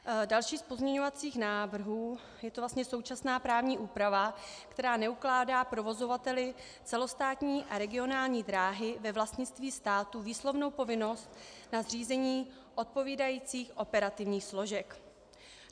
Další z pozměňovacích návrhů, je to vlastně současná právní úprava, která neukládá provozovateli celostátní a regionální dráhy ve vlastnictví státu výslovnou povinnost na zřízení odpovídajících operativních složek.